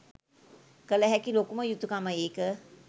කළ හැකි ලොකුම යුතුකම ඒක.